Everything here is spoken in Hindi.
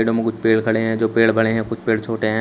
कुछ पेड़ खड़े हैं जो पेड़ बड़े हैं कुछ पेड़ छोटे हैं।